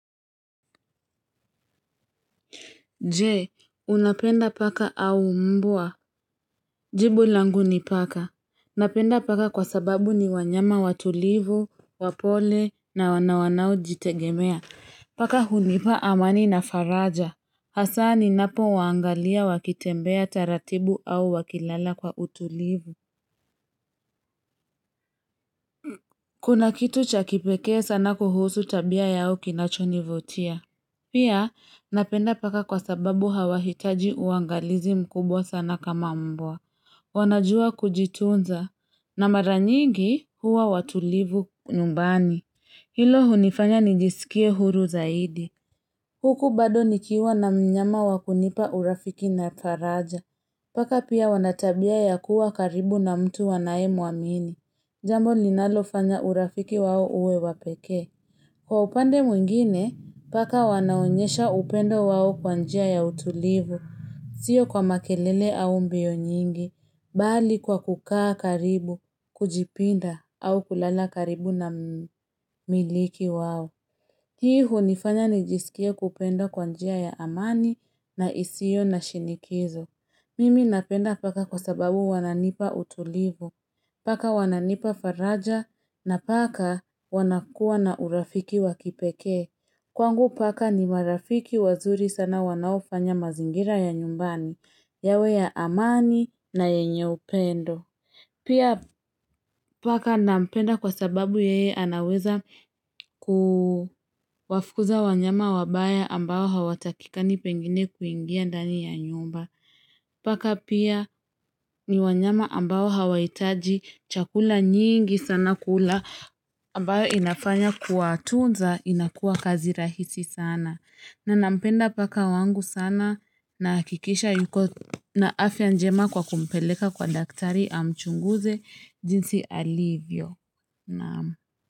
Jee, unapenda paka au mbwa. Jibu langu ni paka. Napenda paka kwa sababu ni wanyama watulivu, wapole na wanawanao jitegemea. Paka hunipa amani na faraja. Hasa ninapo waangalia wakitembea taratibu au wakilala kwa utulivu. Kuna kitu cha kipekee sana kuhusu tabia yao kinacho nivutia. Pia napenda paka kwa sababu hawahitaji uangalizi mkubwa sana kama mbwa. Wanajua kujitunza. Na maranyigi huwa watulivu numbani. Hilo unifanya nijisikie huru zaidi. Huku bado nikiwa na mnyama wa kunipa urafiki na faraja. Paka pia wana tabia ya kuwa karibu na mtu wanaye muamini. Jambo linalofanya urafiki wao uwe wa pekee. Kwa upande mwingine, paka wanaonyesha upendo wao kwa njia ya utulivu, sio kwa makelele au mbio nyingi, bali kwa kukaa karibu, kujipinda au kulala karibu na mmiliki wao. Hii hunifanya nijisikie kupenda kwa njia ya amani na isiyo na shinikizo. Mimi napenda paka kwa sababu wananipa utulivu. Paka wananipa faraja na paka wanakua na urafiki wakipekee. Kwangu paka ni marafiki wazuri sana wanaofanya mazingira ya nyumbani, yawe ya amani na yenye upendo. Pia paka nampenda kwa sababu yeye anaweza kuwafukuza wanyama wabaya ambao hawatakikani pengine kuingia ndani ya nyumba. Paka pia ni wanyama ambao hawaitaji chakula nyingi sana kula ambayo inafanya kuwatunza inakuwa kazi rahisi sana. Na nampenda paka wangu sana nahakikisha yuko na afya njema kwa kumpeleka kwa daktari amchunguze jinsi alivyo.